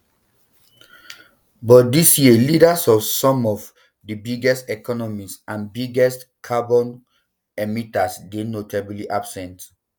but dis year leaders of some of di biggest economies and biggest um carbon emitters dey notably absent